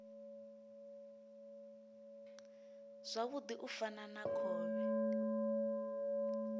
zwavhudi u fana na khovhe